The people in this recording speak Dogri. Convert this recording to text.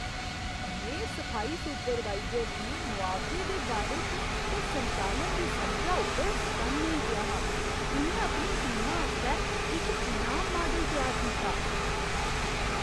में सफाई सुपरवाइजर दी मुआवजे दे बारे च ते संचालन दी समझा उप्पर सटन्न होई गेआ हा। उ'न्नै अपनी टीमा आस्तै इक इनाम माडल त्यार कीता।